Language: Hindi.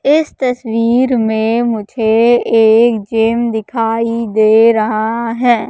इस तस्वीर में मुझे एक जिम दिखाई दे रहा है।